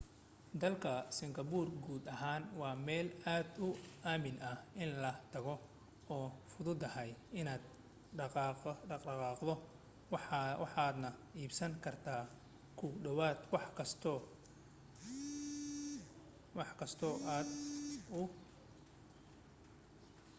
dalka singapore guud ahaan waa meel aad u aamin ah in la tago oo fududahay inaad dhexqaaddo waxaadna iibsan kartaa ku dhawaad wax kasta ka dib imaatinkaaga